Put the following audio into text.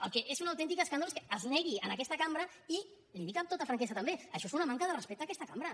el que és un autèntic escàndol és que es negui en aquesta cambra i li ho dic amb tota franquesa també això és una manca de respecte a aquesta cambra